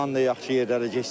Bundan da yaxşı yerlərə getsin.